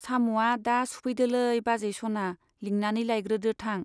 साम'आ दा सुफैदोलै बाजै सना, लिंनानै लायग्रोदो थां।